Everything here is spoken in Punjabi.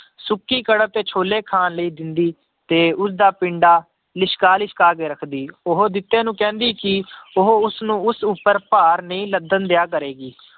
ਸੁੱਕੀ ਕਣਕ ਤੇ ਛੋਲੇ ਖਾਣ ਲਈ ਦਿੰਦੀ ਤੇ ਉਸਦਾ ਪਿੰਡਾ ਲਿਸ਼ਕਾ ਲਿਸ਼ਕਾ ਕੇ ਰੱਖਦੀ, ਉਹ ਜਿੱਤੇ ਨੂੰ ਕਹਿੰਦੀ ਕਿ ਉਹ ਉਸ ਨੂੰ ਉਸ ਉੱਪਰ ਭਾਰ ਨਹੀਂ ਲੱਦਣ ਦਿਆ ਕਰੇਗੀ।